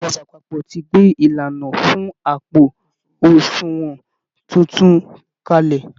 Ìjọba àpapọ̀ ti gbé ìlànà fún àpò àsunwọ̀n tuntun kalẹ̀